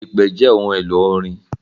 Ipè jẹ ohun elo orin.